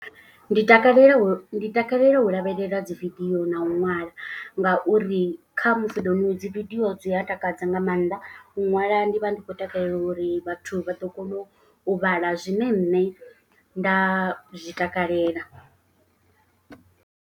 Ndi takalela ndi takalela u lavhelela dzi video na u ṅwala. Ngauri kha musi ḓo nwe dzi vidio dzi a takadza nga maanḓa. U ṅwala ndi vha ndi khou takalela uri vhathu vha ḓo kona u vhala zwine nṋe nda zwi takalela.